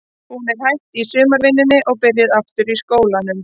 Hún er hætt í sumarvinnunni og er byrjuð aftur í skólanum.